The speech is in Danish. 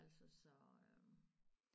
Altså så øh